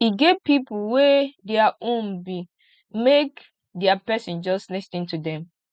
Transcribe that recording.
e get pipo wey dia own be make dia pesin just lis ten to dem